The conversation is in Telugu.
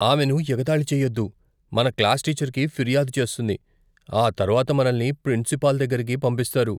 ఆమెను ఎగతాళి చేయొద్దు. మన క్లాస్ టీచర్కి ఫిర్యాదు చేస్తుంది, ఆ తర్వాత మనల్ని ప్రిన్సిపాల్ దగ్గరికి పంపిస్తారు.